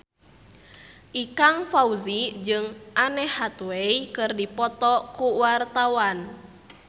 Ikang Fawzi jeung Anne Hathaway keur dipoto ku wartawan